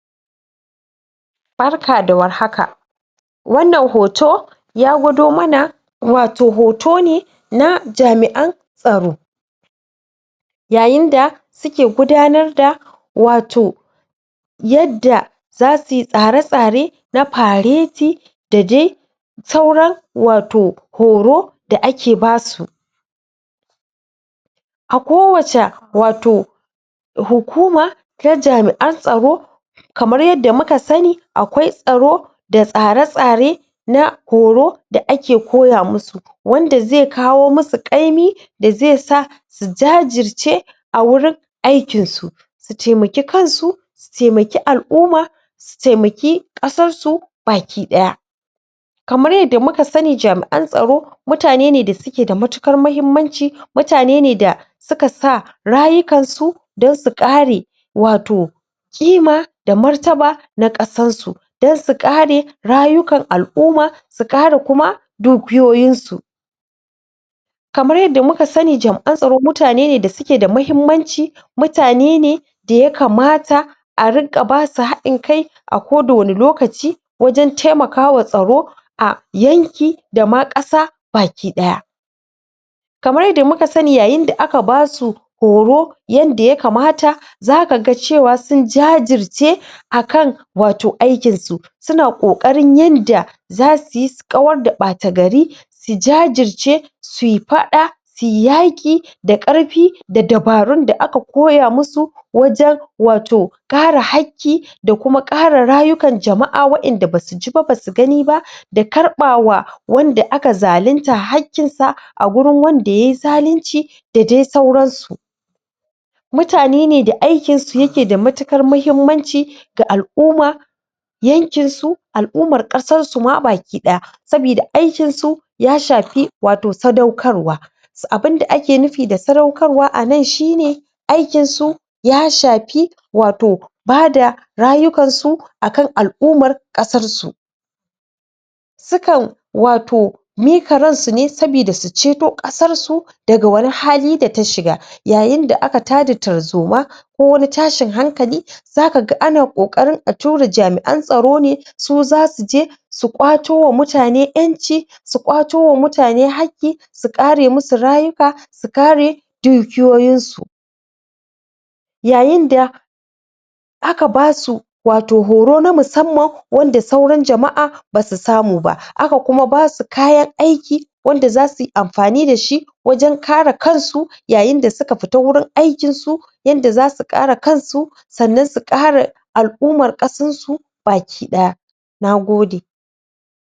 Barka da warhaka! wannan hoto ya gwado mana wato hoto ne na jami'an tsaro yayin da suke gudanar da wato yadda za suy tsara-tsare na fareti da dai sauran wato horo da ake basu a kowaca wato hukuma ta jami'an tsaro kamar yanda muka sanni akwai tsaro da tsara-tsare na horo da ake koya musu wanda zai kawo musu ƙaimi da zai sa su jajirce a wurin aikin su su taimaki kansu taimaki al'umma su taimaki ƙasar su baki ɗaya kamar yadda muka sanni jami'an tsaro mutane ne da suke da matuƙar mahimmanci mutane ne da suka sa rayukansu don su ƙare wato ƙima da martaba na ƙasar su dan su ƙare rayukan al'umma su ƙara kuma dukiyoyin su kamar yadda muka sanni jam'an tsaro mutane ne da suke da mahimmanci mutane ne da ya kamata a riƙa basu haɗin kai a koda wani lokaci wajen taimakawa tsaro a yanki dama ƙasa baki ɗaya kamar yadda muka sanni yayin da aka basu horo yanda ya kamata zaka ga cewa sun jajirce akan wato aikin su suna ƙoƙarin yanda zasu yi su kawar da ɓata gari su jajirce suy faɗa suyi yaƙi da ƙarfi da dabarun da aka koya musu wajen wato ƙara hakki da kuma ƙara rayukan jama'a wa'inda basu ji ba basu gani ba da karɓawa wanda aka zalinta haƙƙin sa a gurin wanda ye zalunci da dai sauran su mutane ne da aikinsu yake da matukar mahimmanci ga al'umma yankin su al'ummar ƙasar mu baki ɗaya sabida aikin su ya shafi wato sadaukarwa abinda ake nufi da sadaukarwa anan shi ne aikin su ya shafi wato bada rayukan su akan al'ummar ƙasar su sukan wato mika ransu ne saboda su ceto ƙasar su daga wani hali data shiga yayin da aka tada tarzoma ko wani tashin hankali zaka ga ana ƙoƙarin a tura jami'an tsaro ne su zasu je su ƙwato wa mutane ƴanci su ƙwato wa mutane haƙƙi su ƙare musu rayuka su kare dukiyoyin su yayin da aka basu wato horo na musamman wanda sauran jama'a basu samu ba, aka kuma basu kayan aiki wanda zasu yi amfani dashi wajen kare kansu yayin da suka fita wurin aikin su yanda zasu ƙara kansu sannan su ƙare al'ummar ƙasar su baki ɗaya Nagode!